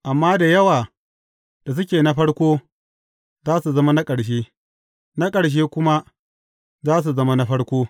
Amma da yawa da suke na farko, za su zama na ƙarshe, na ƙarshe kuma, za su zama na farko.